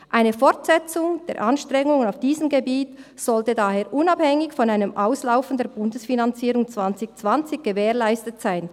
Eine Fortsetzung der Anstrengungen auf diesem Gebiet sollte daher unabhängig von einem Auslaufen der Bundesfinanzierung 2020 gewährleistet sein.